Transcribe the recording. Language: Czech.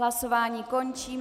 Hlasování končím.